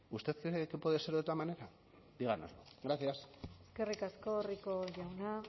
usted cree que puede ser de otra manera gracias eskerrik asko rico jauna